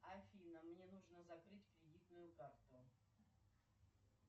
афина мне нужно закрыть кредитную карту